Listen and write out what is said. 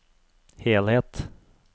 helhet